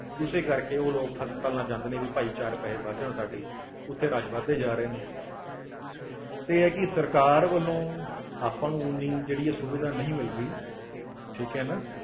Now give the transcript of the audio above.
ਉਸੇ ਕਰਕੇ ਉਹ ਲੋਕ ਹਸਪਤਾਲਾਂ ਜਾਂਦੇ ਨੇ ਵੀ ਭਾਈ ਚਾਰ ਪੈਸੇ ਬਚ ਜਾਣ ਸਾਡੇ ਉੱਥੇ rush ਵੱਧਦੇ ਜਾ ਰਹੇ ਨੇ ਤੇ ਇਹ ਆ ਕਿ ਸਰਕਾਰ ਵੱਲੋਂ ਆਪਾਂ ਨੂੰ ਉਨੀ ਜਿਹੜੀ ਆ ਸੁਵਿਧਾ ਨਹੀਂ ਮਿਲ ਰਹੀ ਠੀਕ ਹੈ ਨਾ।